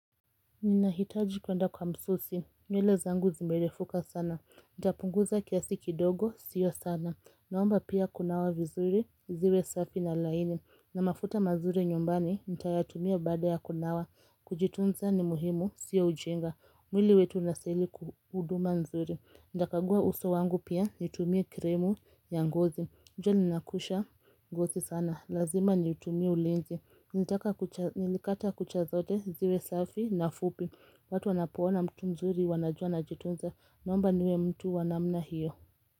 Ninahitaji kwenda kwa msusi, nywele zangu zimerefuka sana Ntapunguza kiasi kidogo, sio sana Naomba pia kunawa vizuri, ziwe safi na laini na mafuta mazuri nyumbani, nitayatumia baada ya kunawa Kujitunza ni muhimu, sio ujinga mwili wetu unastahili huduma nzuri Ntakagua uso wangu pia, nitumie krimu ya ngozi Njoli nakuisha gozi sana, lazima nitumie ulinzi Nilikata kucha zote ziwe safi na fupi watu wanapoona mtu mzuri wanajua na jitunza Naomba niwe mtu wa namna hiyo.